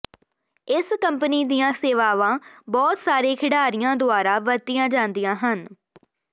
ਇਸ ਕੰਪਨੀ ਦੀਆਂ ਸੇਵਾਵਾਂ ਬਹੁਤ ਸਾਰੇ ਖਿਡਾਰੀਆਂ ਦੁਆਰਾ ਵਰਤੀਆਂ ਜਾਂਦੀਆਂ ਹਨ